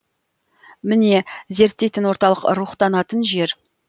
міне зерттейтін орталық рухтанатын жер